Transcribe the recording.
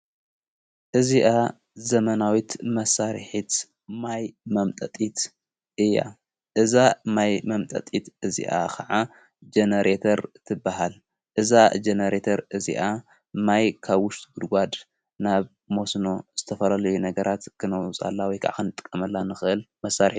እዚኣ ዘመናዊት መሣርሒት ማይ መምጠጢት እያ እዛ ማይ መምጠጢት እዚኣ ኸዓ ጀኔሬተር ትበሃል እዛ ጀነሬተር እዚኣ ማይ ካ ውሽጢት ጕድጓድ ናብ ሞስኖ ዘተፈላለዮ ነገራት ክነዉፃላ ወይ ከዓ ኸንጠቀመላ ንኽእል መሣርሂ፡፡